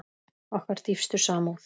Okkar dýpstu samúð.